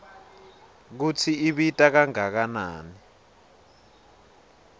kutsi ibita kangakanani